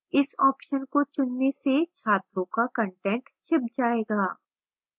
इस option को चुनने से छात्रों का कंटेंट छिप जाएगा